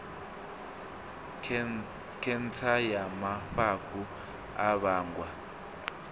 khentsa ya mafhafhu a vhangwa